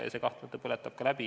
Tahes-tahtmata see põletab läbi.